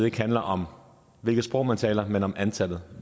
ikke handler om hvilket sprog man taler men om antallet